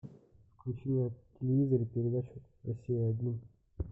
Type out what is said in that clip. включи на телевизоре передачу россия один